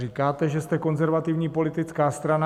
Říkáte, že jste konzervativní politická strana.